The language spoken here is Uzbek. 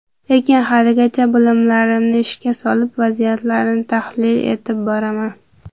Lekin haligacha bilimlarimni ishga solib, vaziyatlarni tahlil etib boraman.